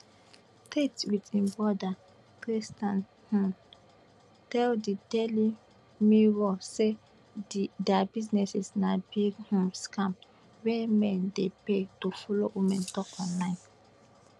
tate wit im broda tristan um tell di daily mirror say dia business na big um scam wey men dey pay to follow women tok online